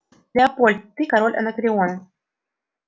лепольд ты король анакреона